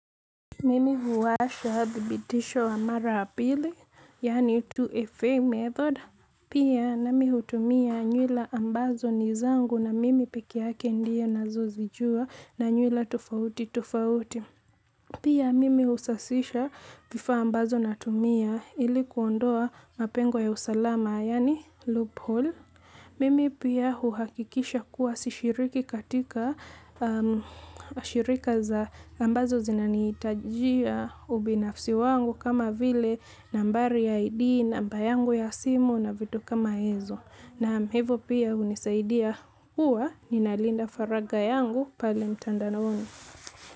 Mimi huwasha thibitisho wa mara ya pili, yani 2FA method. Pia nami hutumia nywila ambazo ni zangu na mimi pekee yake ndiye nazozijua na nywila tofauti tofauti. Pia mimi husasisha vifaa ambazo natumia ilikuondoa mapengo ya usalama, yani loophole. Mimi pia huhakikisha kuwa sishiriki katika shirika za ambazo zinani itajia ubinafsi wangu kama vile nambari ya ID, namba yangu ya simu na vitu kama hizo. Naam hivo pia hunisaidia huwa ni nalinda faraga yangu pale mtandanaoni.